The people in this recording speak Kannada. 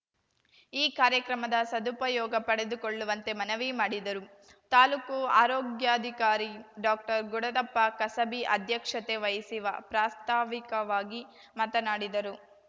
ಈ ಕಾರ್ಯಕ್ರಮದ ಸದುಪಯೋಗ ಪಡೆದುಕೊಳ್ಳುವಂತೆ ಮನವಿ ಮಾಡಿದರು ತಾಲೂಕು ಆರೋಗ್ಯಾಧಿಕಾರಿ ಡಾಕ್ಟರ್ ಗುಡದಪ್ಪ ಕಸಬಿ ಅಧ್ಯಕ್ಷತೆ ವಹಿಸಿ ವಾ ಪ್ರಾಸ್ತಾವಿಕವಾಗಿ ಮಾತನಾಡಿದರು